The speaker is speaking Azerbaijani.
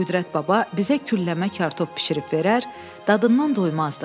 Qüdrət baba bizə külləmə kartof bişirib verər, dadından doymazdıq.